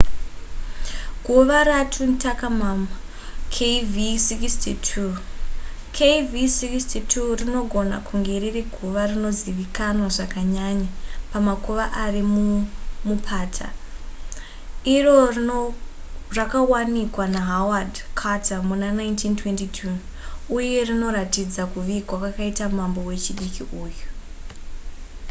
guva ratutankhamum kv62. kv62 rinogona kunge riri guva rinozivikanwa zvakanyanya pamakuva ari mumupata iro rakawanikwa nahaward carter muna1922 uye rinoratidza kuvigwa kwakaitwa mambo wechidiki uyu